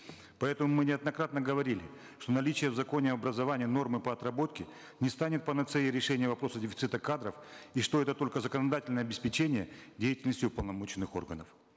поэтому мы неоднократно говорили что наличие в законе об образовании нормы по отработке не станет панацеей решения вопроса дефицита кадров и что это только законодательное обеспечение деятельности уполномоченных органов